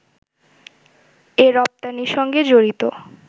এ রপ্তানির সঙ্গে জড়িত